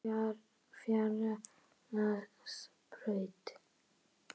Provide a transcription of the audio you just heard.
Fagradalsbraut